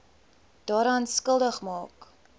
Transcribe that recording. daaraan skuldig maak